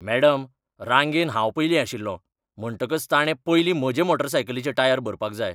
Madam, रांगेंत हांव पयलीं आशिल्लों, म्हणटकच ताणें पयलीं म्हजे मोटारसायकलीचे टायर भरपाक जाय.